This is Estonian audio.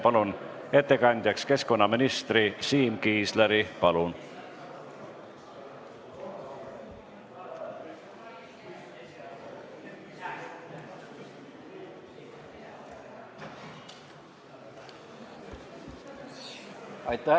Palun ettekandjaks keskkonnaministri Siim Kiisleri!